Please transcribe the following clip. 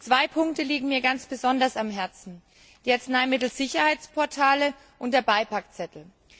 Zwei Punkte liegen mir ganz besonders am Herzen die Arzneimittelsicherheitsportale und der Beipackzettel.